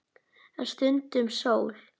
En stundum sól.